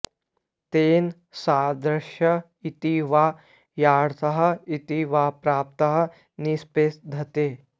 तेन सादृश्य इति वा यथार्थं इति वा प्राप्तं निषिध्यते